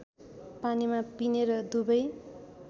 पानीमा पिनेर दुबै